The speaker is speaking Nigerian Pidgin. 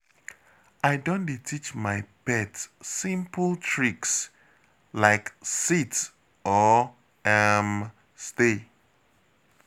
I don dey teach my pet simple tricks, like sit or um stay.